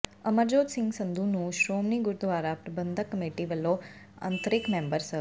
ਅਮਰਜੋਤ ਸਿੰਘ ਸੰਧੂ ਨੂੰ ਸ਼੍ਰੋਮਣੀ ਗੁਰਦੁਆਰਾ ਪ੍ਰਬੰਧਕ ਕਮੇਟੀ ਵੱਲੋਂ ਅੰਤ੍ਰਿੰਗ ਮੈਂਬਰ ਸ